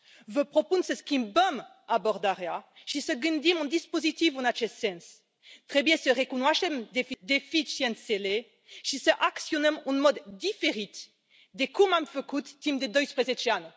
Vă propun să schimbăm abordarea și să gândim un dispozitiv în acest sens. Trebuie să recunoaștem deficiențele și să acționăm în mod diferit de cum am făcut timp de 12 ani.